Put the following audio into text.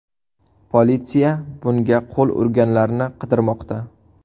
Politsiya bunga qo‘l urganlarni qidirmoqda.